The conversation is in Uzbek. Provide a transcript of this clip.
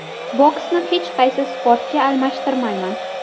Boksni hech qaysi sportga almashtirmayman.